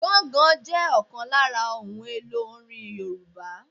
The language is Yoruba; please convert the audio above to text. Gángan jẹ ọ̀kan lára ohun èlò orin Yorùbá